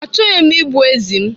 Achọghị m igbu ezi m.